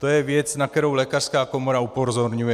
To je věc, na kterou lékařská komora upozorňuje...